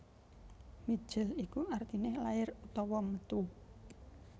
Mijil iku artine lair utawa metu